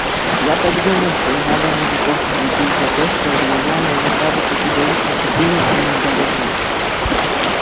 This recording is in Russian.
я так думаю что не надо мужиков не любить за то что временами они кажутся чудовищно тупыми и недалёкими